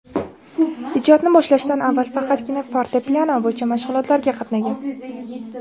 Ijodni boshlashdan avval faqatgina fortepiano bo‘yicha mashg‘ulotlarga qatnagan.